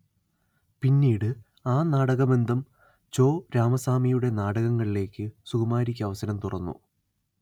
പിന്നീട് ആ നാടകബന്ധം ചോ രാമസ്വാമിയുടെ നാടകങ്ങളിലേക്ക് സുകുമാരിക്ക് അവസരം തുറന്നു